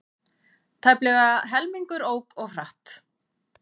Tæplega helmingur ók of hratt